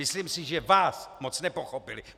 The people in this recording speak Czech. Myslím si, že vás moc nepochopili.